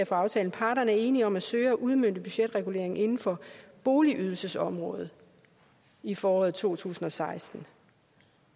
fra aftalen parterne er enige om at søge at udmønte budgetreguleringen inden for boligydelsesområdet i foråret to tusind og seksten